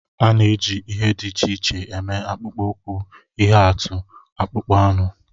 A na-eji ihe dị iche iche eme akpụkpọ ụkwụ, ihe atụ; akpụkpọ anụ